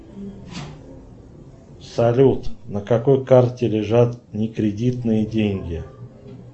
салют на какой карте лежат не кредитные деньги